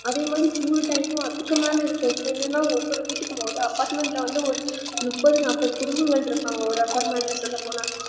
அதே மாதிரி சின்ன time மு அதுக்கு மேல இருக்கும் இல்லனா ஒவ்வொரு வீட்டுக்கு apartment ல வந்து ஒரு முப்பத்து நாப்பது குடும்பங்கள் இருபாங்க ஒரு apartment ல சொல்ல போனா